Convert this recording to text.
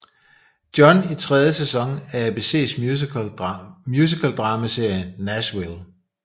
John i tredje sæson af ABCs musical dramaserie Nashville